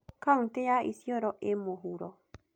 Kauntĩ ya Isiolo ĩĩ mũhuro.